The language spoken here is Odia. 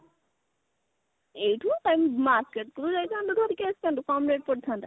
ଏଇଠୁ କାଇଁ market କୁ ଯାଇଥାନ୍ତୁ ଧରିକି ଆସିଥାନ୍ତୁ କମ rate ପଡିଥାନ୍ତା